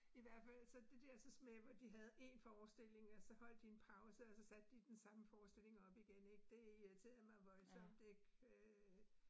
I hvert fald så det dersens med de havde én forestilling, og så holdt de en pause, og så satte de den samme forestilling op igen ik, det irriterede mig voldsomt øh